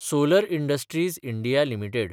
solar industries India limited